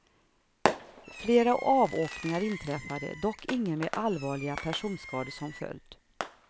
Flera avåkningar inträffade, dock ingen med allvarliga personskador som följd.